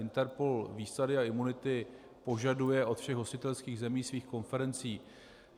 INTERPOL výsady a imunity požaduje od všech hostitelských zemí svých konferencí.